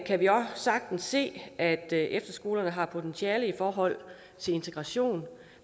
kan vi også sagtens se at efterskolerne har potentiale i forhold til integration